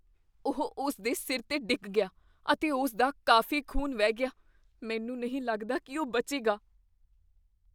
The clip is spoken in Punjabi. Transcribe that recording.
ਉਹ ਉਸ ਦੇ ਸਿਰ 'ਤੇ ਡਿੱਗ ਗਿਆ ਅਤੇ ਉਸ ਦਾ ਕਾਫ਼ੀ ਖ਼ੂਨ ਵਹਿ ਗਿਆ। ਮੈਨੂੰ ਨਹੀਂ ਲੱਗਦਾ ਕੀ ਉਹ ਬਚੇਗਾ।